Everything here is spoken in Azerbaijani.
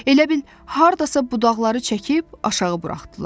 Elə bil hardasa budaqları çəkib aşağı buraxdılar.